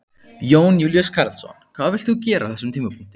Jón Júlíus Karlsson: Hvað vilt þú gera á þessum tímapunkti?